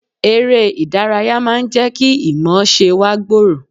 Eré ìdárayá máa ń jẹ́ kí ìmọ̀ọ́ṣe wa gbòòrò